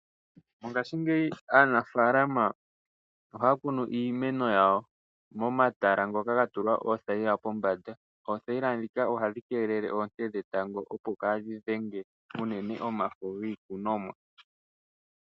Mongashingeyi aanafaalama ohaya kunu iimeno yawo momatala ngoka ga tulwa oothayila pombanda. Oothayila ndhika ohadhi keelele oonte dhetango, opo kaadhi dhenge unene omafo iikunomwa.